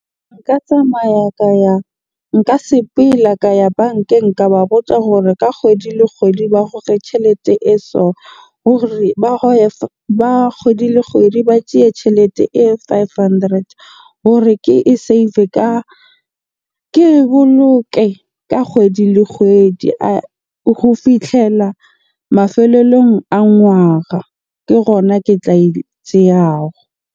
Nka tsamaya ka ya, nka sepela ka ya bankeng. Ka ba botsa hore ka kgwedi le kgwedi ba goge tjhelete e so hore ba ba kgwedi le kgwedi ba tjeye tjhelete e five hundred hore ke e save-e ka, ke e boloke ka kgwedi le kgwedi ho fihlella mafelellong a ngwaga. Ke gona ke tla e tseyago.